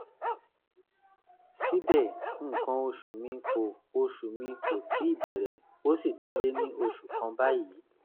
síbẹ̀ nǹkan oṣù mi kò oṣù mi kò tíì bẹ̀rẹ̀ ó sì ti lé ní ọ̀sẹ̀ kan báyìí